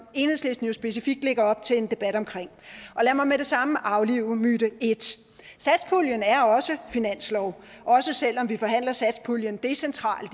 enhedslisten jo specifikt lægger op til en debat om lad mig med det samme aflive myte et satspuljen er også finanslov også selv om vi forhandler satspuljen decentralt